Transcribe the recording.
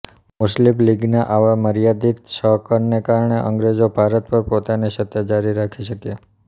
મુસ્લીમ લિગના આવા મર્યાદિત સહકરને કારણે અંગ્રેજો ભારત પર પોતાની સત્તા જારી રાખી શક્યાં